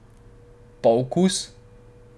Pa okus?